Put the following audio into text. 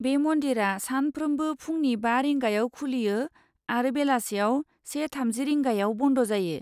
बे मन्दिरा सानफ्रोमबो फुंनि बा रिंगायाव खुलियो आरो बेलासियाव से थामजि रिंगायाव बन्द जायो।